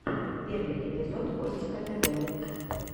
первый эпизод костика тв